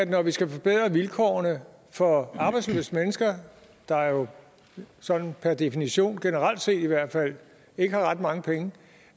når vi skal forbedre vilkårene for arbejdsløse mennesker der jo sådan per definition generelt set i hvert fald ikke har ret mange penge